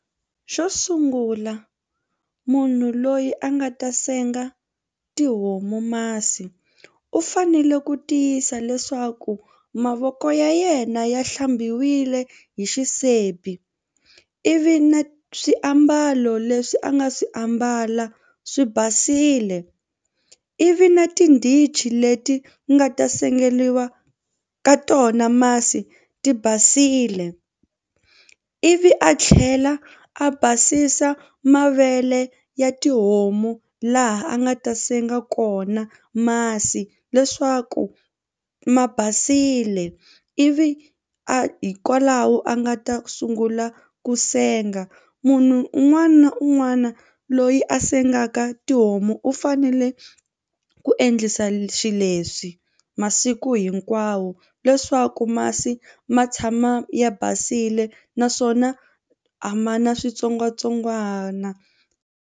Xo sungula munhu loyi a nga ta senga tihomu masi u fanele ku tiyisa leswaku mavoko ya yena ya hlambiwile hi xisibi ivi na swiambalo leswi a nga swi ambala swi basile ivi na tindichi leti ku nga ta sengeriwa ka tona masi ti basile ivi a tlhela a basisa mavele ya tihomu laha a nga ta senga kona masi leswaku ma basile ivi a hikwalaho a nga ta sungula ku senga. Munhu un'wana na un'wana loyi a sengaka tihomu u fanele ku endla yisa xileswi masiku hinkwawo leswaku masi ma tshama ya basile naswona a ma na switsongwatsongwana.